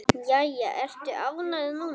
Jæja, ertu ánægð núna?